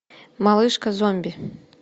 малышка зомби